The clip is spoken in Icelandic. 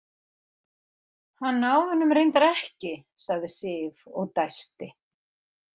Hann náði honum reyndar ekki, sagði Sif og dæsti.